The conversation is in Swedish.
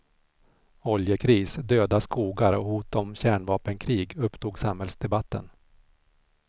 Oljekris, döda skogar och hot om kärnvapenkrig upptog samhällsdebatten.